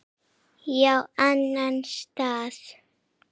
Já, annan stað.